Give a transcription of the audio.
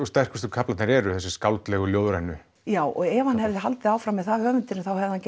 sterkustu kaflarnir eru þessir skáldlegu ljóðrænu já og ef hann hefði haldið áfram með það höfundurinn þá hefði hann